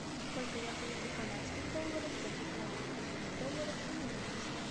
сколько я получу канадских долларов за пятнадцать тысяч долларов американских